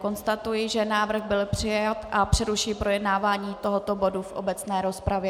Konstatuji, že návrh byl přijat, a přerušuji projednávání tohoto bodu v obecné rozpravě.